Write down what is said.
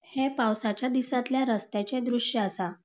ह्ये पावसाच्या दिसातल्या रस्त्याचे द्रुश्य आसा.